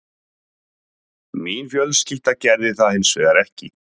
Mín fjölskylda gerði það hins vegar ekki